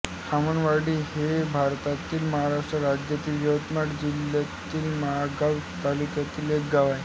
खामळवाडी हे भारतातील महाराष्ट्र राज्यातील यवतमाळ जिल्ह्यातील महागांव तालुक्यातील एक गाव आहे